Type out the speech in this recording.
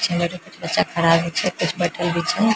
पीछे मे बैठे कुछ बच्चा खड़ा भी छै कुछ बइठल भी छै ।